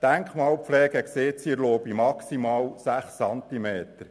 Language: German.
Die Denkmalpflege erlaubt jedoch maximal sechs Zentimeter.